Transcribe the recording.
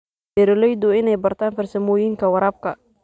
Beeraleydu waa inay bartaan farsamooyinka waraabka.